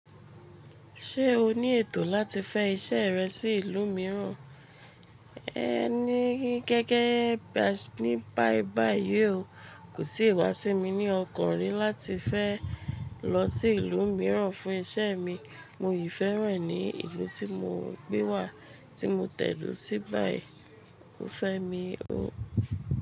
Ṣé o ní ètò láti fẹ́ iṣẹ́ rẹ sí ìlú mìíràn? Ní gẹ́gẹ́ ní báìbàì yí o, kò sì wá sí mi ní ọkàn rí láti fẹ́ lọ sí ìlú mìíràn fún iṣẹ́ mi. Mo yìí fẹ́ràn ní ìlú tí mo gbé wà tí mo tẹ̀dó sí báìì. Ó fẹ́ mi o.